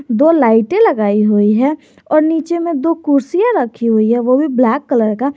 दो लाइटें लगाई हुई हैं और नीचे में दो कुर्सियां रखी हुई है वो भी ब्लैक कलर का।